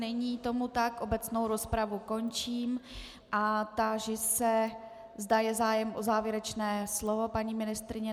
Není tomu tak, obecnou rozpravu končím a táži se, zda je zájem o závěrečné slovo, paní ministryně.